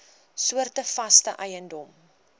soorte vaste eiendom